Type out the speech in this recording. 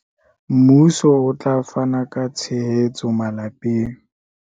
Mmuso o tla fana ka tshehetso malapeng